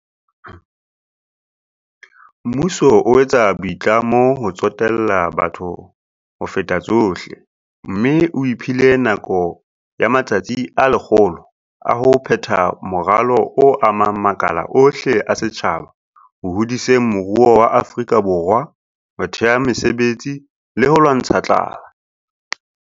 Mmuso o etsa boitlamo ba ho tsotella batho ho feta tsohle, mme o iphile nako ya matsatsi a 100 a ho phetha moralo o amang makala ohle a setjhaba ho hodiseng moruo wa Afrika Borwa, ho thea mesebetsi le ho lwantsha tlala.